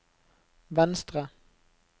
venstre